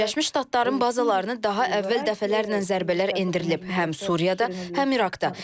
Birləşmiş Ştatların bazalarını daha əvvəl dəfələrlə zərbələr endirilib həm Suriyada, həm İraqda.